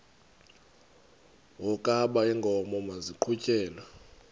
wokaba iinkomo maziqhutyelwe